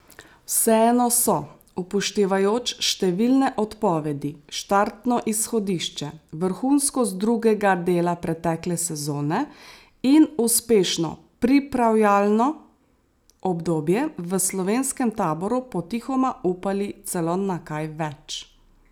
Vseeno so, upoštevajoč številne odpovedi, štartno izhodišče, vrhunskost drugega dela pretekle sezone in uspešno pripravljalno obdobje, v slovenskem taboru potihoma upali celo na kaj več.